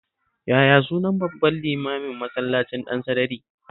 Yaya sunan babban limamin Masallacin Ɗansarari?